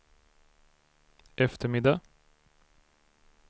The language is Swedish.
eftermiddag